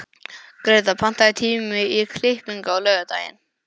Greta, pantaðu tíma í klippingu á laugardaginn.